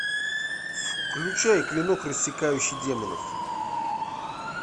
включай клинок рассекающий демонов